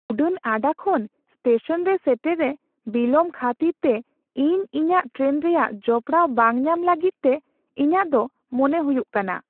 ᱩᱰᱟᱹᱱ ᱟᱰᱟ ᱠᱷᱚᱱ ᱥᱴᱮᱥᱚᱱ ᱨᱮ ᱥᱮᱴᱮᱨ ᱨᱮ ᱵᱤᱞᱚᱢ ᱠᱷᱟᱹᱛᱤᱨ ᱛᱮ ᱤᱧ ᱤᱧᱟᱹᱜ ᱴᱨᱮᱱ ᱨᱮᱭᱟᱜ ᱡᱚᱯᱲᱟᱣ ᱵᱟᱝ ᱧᱟᱢ ᱞᱟᱹᱜᱤᱫ ᱛᱮ ᱤᱧᱟᱹᱜ ᱫᱚ ᱢᱚᱱᱮ ᱦᱩᱭᱩᱜ ᱠᱟᱱᱟ ᱾